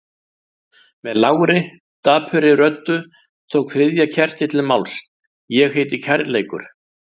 Með lágri, dapurri röddu tók þriðja kertið til máls: Ég heiti kærleikur.